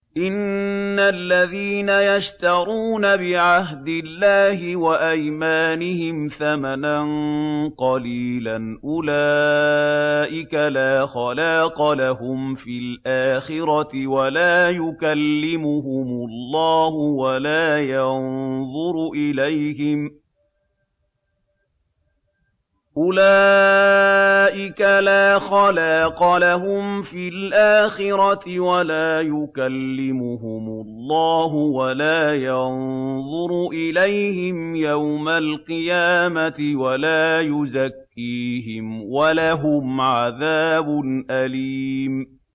إِنَّ الَّذِينَ يَشْتَرُونَ بِعَهْدِ اللَّهِ وَأَيْمَانِهِمْ ثَمَنًا قَلِيلًا أُولَٰئِكَ لَا خَلَاقَ لَهُمْ فِي الْآخِرَةِ وَلَا يُكَلِّمُهُمُ اللَّهُ وَلَا يَنظُرُ إِلَيْهِمْ يَوْمَ الْقِيَامَةِ وَلَا يُزَكِّيهِمْ وَلَهُمْ عَذَابٌ أَلِيمٌ